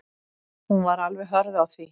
Hún var alveg hörð á því.